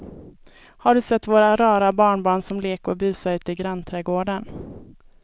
Har du sett våra rara barnbarn som leker och busar ute i grannträdgården!